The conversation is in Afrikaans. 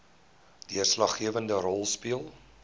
deurslaggewende rol speel